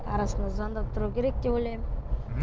арасында звондап тұру керек деп ойлаймын мхм